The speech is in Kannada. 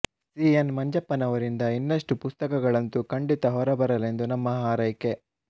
ಸಿ ಎನ್ ಮಂಜಪ್ಪನವರಿಂದ ಇನ್ನಷ್ಟು ಪುಸ್ತಕಗಳಂತೂ ಖಂಡಿತ ಹೊರಬರಲೆಂದು ನಮ್ಮ ಹಾರೈಕೆ